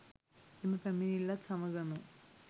එම පැමිණිල්ලත් සමගම